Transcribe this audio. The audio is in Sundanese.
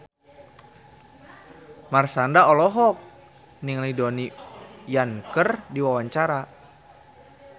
Marshanda olohok ningali Donnie Yan keur diwawancara